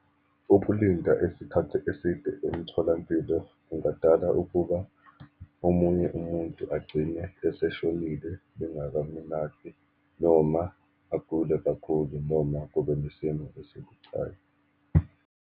Ukulinda isikhathi eside emtholampilo kungadala ukuba omunye umuntu agcine eseshonile bengakamelaphi, noma agule kakhulu, noma kube nesimo esibucayi.